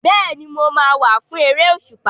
Bẹ́ẹ̀ni, mo máa wá fún eré òṣùpá.